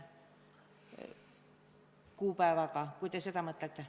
Kui te ikka seda mõtlete.